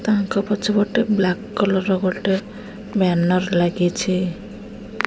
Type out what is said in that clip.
ତାଙ୍କ ପଛ ପଟେ ବ୍ଲାକ କଲର୍ ର ଗୋଟେ ବ୍ୟାନର ଲାଗିଛି।